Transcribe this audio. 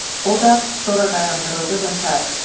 O da sonra dayandırıldı və sair.